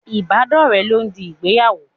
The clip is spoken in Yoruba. Ibadore lọ ń di ìgbéyàwó.